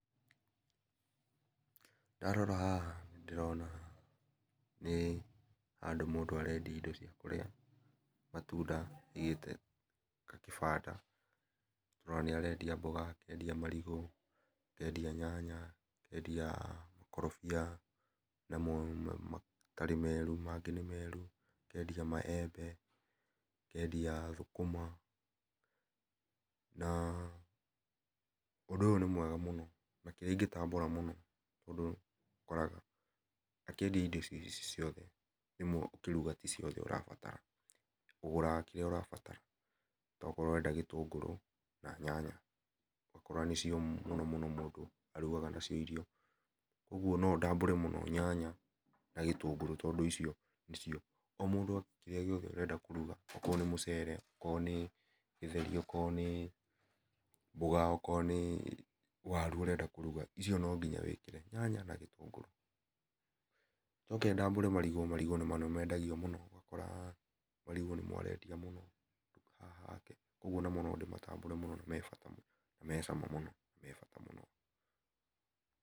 Ndarora haha nĩ ndĩrona nĩ handũ mũndũ arendia indo cia kũrĩa ,matũnda aigĩte gakĩbanda nĩ ũrona nĩ arendia mboga, akendia marigũ, akendia nyanya , akendia makorobia hena namo matarĩ merũ mangĩ nĩ merũ akendia maembe, akendia thũkũma na ũndũ ũyũ nĩ mwega mũno na kĩrĩa ingitambũra mũno ũndũ ũkoraga makĩendia indo icĩ ciothe rĩmwe ũkĩrũga tĩ ciothe ũbataraga ũgũraga kĩrĩa ũrabatara okorwo ũrenda gĩtũngũrũ na nyanya ũgakora nĩcio mũno mũno mũndũ arũgaga na cio irio ũgakora no ndambũre mũno nyanya na gĩtũngũrũ tondũ icio nĩcio o mũndũ kĩrĩa gĩothe arenda kũrũga okorwo nĩ mũcere, okorwo nĩ gĩtheri, o korwo nĩ mboga, okorwo nĩ warũ ũrenda kũrũga icio no nginya wĩkĩre nyanya kana gĩtũngũrũ , njoke ndambũre marigũ marigũ namo nĩ mendagio mũno ũgakora nĩmo arendia mũno haha hake kũogũo namo no ndimatambũre na mebata mũno na mecama na mebata mũno.